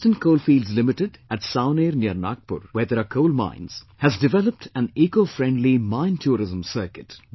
Western Coalfields Limited at Savaner near Nagpur, where there are coal mines, has developed an Ecofriendly MineTourism Circuit